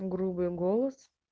грубый голос